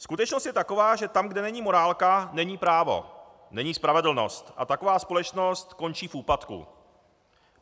Skutečnost je taková, že tam, kde není morálka, není právo, není spravedlnost a taková společnost končí v úpadku.